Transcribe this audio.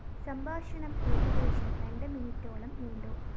സംഭാഷണം ഏകദേശം രണ്ട് മിനിട്ടോളം നീണ്ടു